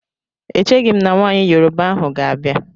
E cheghim na nwaanyị Yoroba ahụ ga-abịa.